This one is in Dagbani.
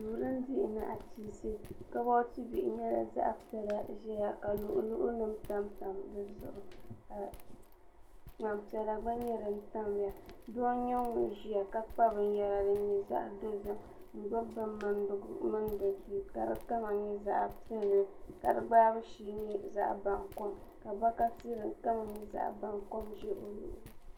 duu tin dihi nachiinsi kaboti bihi nyɛla din dihi nachiinsi ʒɛya ka luɣi luɣi nim tamtam dizuɣu ka ŋmani piɛla gba nyɛ din tamya doo n nyɛ ŋun ʒiya ka kpa binyɛra din nyɛ zaɣ dozim n gbubi bin mindigu n mindi duu ka di kama nyɛ zaɣ piɛlli ka si gbaabu shee nyɛ zaɣ baŋkom ka bokati din kama nyɛ zaɣ baŋkom ʒɛ o luɣuli ni